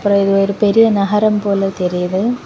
அப்பறம் இது ஒரு பெரிய நகரம் போல தெரியுது.